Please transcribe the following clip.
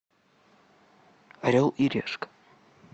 орел и решка